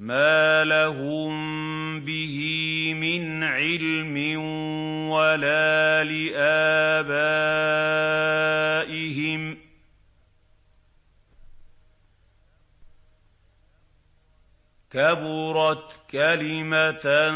مَّا لَهُم بِهِ مِنْ عِلْمٍ وَلَا لِآبَائِهِمْ ۚ كَبُرَتْ كَلِمَةً